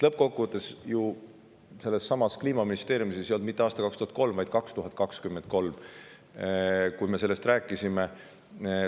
Lõppkokkuvõttes ju sellessamas Kliimaministeeriumis ei olnud mitte aasta 2003, vaid 2023, kui me sellest rääkisime.